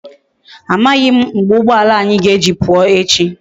Amaghi m mgbe ugboala anyi ga eji puo echi